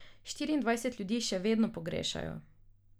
Štirindvajset ljudi še vedno pogrešajo.